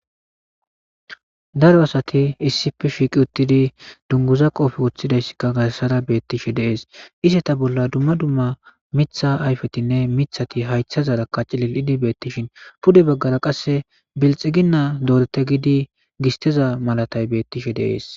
Daro asati issif shiiqi uttidi dunguza qoofi woththidayssikka gassara beettishe deees iseta bolla dumma dumma mitha ayfetinne mithati haytha zarakka cilil'idi beettishin pude baggara qasse bilxiginna doorete gidi gisteza malatay bettishe deees.